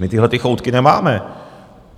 My tyhle choutky nemáme.